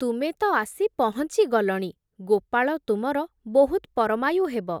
ତୁମେ ତ'ଆସି ପହଁଚି ଗଲଣି, ଗୋପାଳ ତୁମର ବହୁତ୍ ପରମାୟୁ ହେବ ।